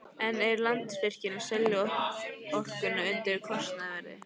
En er Landsvirkjun að selja orkuna undir kostnaðarverði?